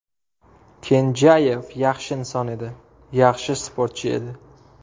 Kenjayev yaxshi inson edi, yaxshi sportchi edi.